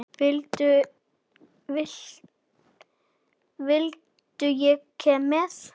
Vildi ég koma með?